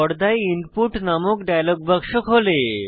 পর্দায় ইনপুট নামক ডায়লগ বাক্স খোলে